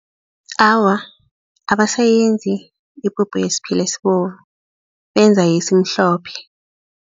Awa, abasayenzi ipuphu yesiphila esibovu benza yesimhlophe.